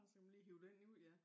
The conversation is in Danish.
Så kan man lige hive den ud ja